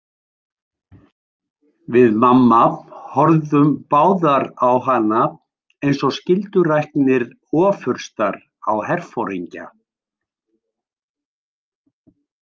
Við mamma horfðum báðar á hana eins og skylduræknir ofurstar á herforingja.